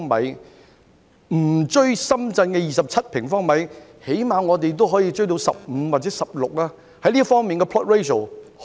即使我們追不上深圳的27平方米，起碼也可以追到15或16平方米吧？